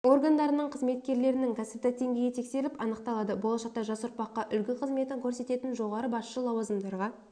органдарының қызметкерлерінің кәсіптік деңгейі тексеріліп анықталады болашақта жас ұрпаққа үлгі қызметін көрсететін жоғары басшы лауазымдарға